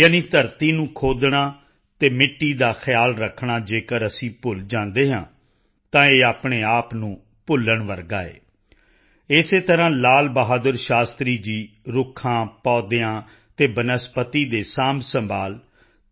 ਯਾਨਿ ਧਰਤੀ ਨੂੰ ਖੋਦਣਾ ਅਤੇ ਮਿੱਟੀ ਦਾ ਖਿਆਲ ਰੱਖਣਾ ਜੇਕਰ ਅਸੀਂ ਭੁੱਲ ਜਾਂਦੇ ਹਾਂ ਤਾਂ ਇਹ ਆਪਣੇ ਆਪ ਨੂੰ ਭੁੱਲਣ ਵਰਗਾ ਹੈ ਇਸੇ ਤਰ੍ਹਾਂ ਲਾਲ ਬਹਾਦਰ ਸ਼ਾਸਤਰੀ ਜੀ ਰੁੱਖਾਂ ਪੌਦਿਆਂ ਅਤੇ ਬਨਸਪਤੀ ਦੇ ਸਾਂਭਸੰਭਾਲ